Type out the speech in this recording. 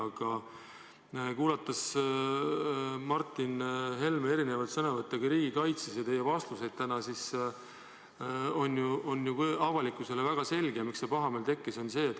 Aga kuulates Martin Helme erinevaid sõnavõtte riigikaitse teemal ja teie vastuseid täna, võib järeldada, et on väga selge, miks avalikkuses see pahameel tekkis.